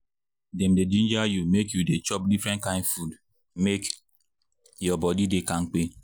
dem dey ginger you make you dey chop different kain food make your body dey kampe.